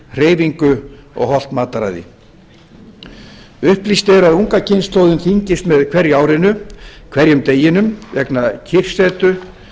hreyfingu og hollt mataræði upplýst er að unga kynslóðin þyngist með hverju árinu hverjum deginum vegna kyrrsetu